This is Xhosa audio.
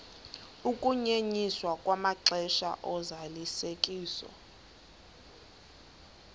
ukunyenyiswa kwamaxesha ozalisekiso